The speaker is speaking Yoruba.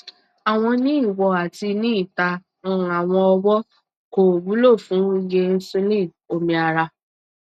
awọn ni iwo ati ni ita n awọn ọwọn ko wulo fun iye insulin omi ara